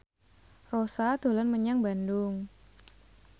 Rossa dolan menyang Bandung